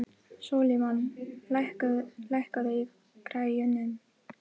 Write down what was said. Sólimann, lækkaðu í græjunum.